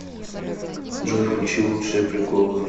джой включи лучшие приколы